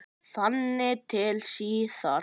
Þangað til síðar.